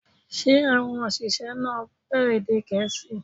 Ṣé àwọn òṣìṣẹ́ náà gbọ́ èdè Gẹ̀ẹ́sì?